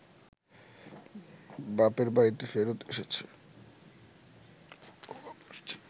বাপের বাড়িতে ফেরত এসেছে